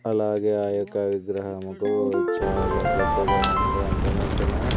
అలాగే ఆ యొక్క విగ్రహము కు చాలా పెద్దగా ఉంది అంత మొత్తము.